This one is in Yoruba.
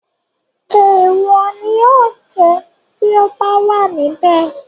Èèwò ni yóò jẹ́ bíi ọ bá wà níbẹ̀